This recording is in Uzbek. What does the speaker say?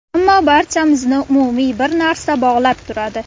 Ammo, barchamizni umumiy bir narsa bog‘lab turadi.